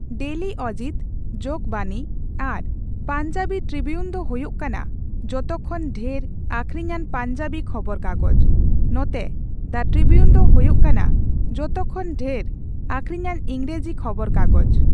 Daily Ajit, Jagbani ᱟᱨ Punjabi tribune ᱫᱚ ᱦᱩᱭᱩᱜ ᱠᱟᱱᱟ ᱡᱚᱛᱚ ᱠᱷᱚᱱ ᱰᱷᱮᱨ ᱟᱹᱠᱷᱨᱤᱧᱟᱱ ᱯᱟᱧᱡᱟᱵᱤ ᱠᱷᱚᱵᱚᱨ ᱠᱟᱜᱚᱡ, ᱱᱚᱛᱮ ᱫᱟ ᱴᱨᱤᱵᱤᱭᱩᱱ ᱫᱚ ᱦᱩᱭᱩᱜ ᱠᱟᱱᱟ ᱡᱚᱛᱚ ᱠᱷᱚᱱ ᱰᱷᱮᱨ ᱟᱹᱠᱷᱨᱤᱧᱟᱱ ᱤᱝᱨᱮᱡᱤ ᱠᱷᱚᱵᱚᱨ ᱠᱟᱜᱚᱡ ᱾